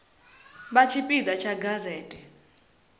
vha tshipi ḓa tsha gazete